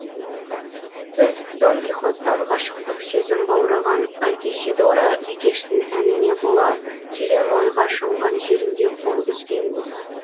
біз дон кихоттан ғашықтық сезім баураған альтисидора бикештің әніне бола терең ойға шомған жерінде қол үзгенбіз